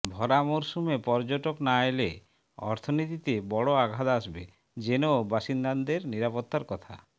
ভরা মরসুমে পর্যটক না এলে অর্থনীতিতে বড় আঘাত আসবে জেনেও বাসিন্দাদের নিরাপত্তার কথা